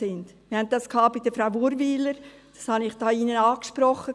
Wir hatten das bei Frau Natalie Urwyler, das habe ich hier im Grossen Rat angesprochen.